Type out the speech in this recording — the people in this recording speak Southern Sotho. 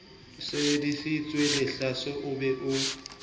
sebeditsweng lehlaso o be o